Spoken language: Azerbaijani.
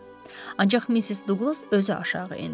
Ancaq Missis Duqlas özü aşağı endi.